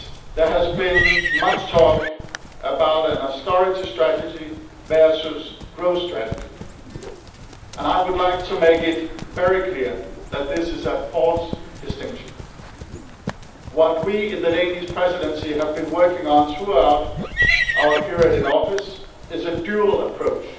There has been much talk about an austerity strategy versus a growth strategy. I would like to make it very clear that this is a false distinction. What we in the Danish Presidency have been working on throughout our period in office is a dual approach